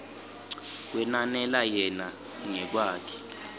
kwenanela yena ngekwakhe